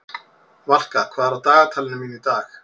Valka, hvað er á dagatalinu mínu í dag?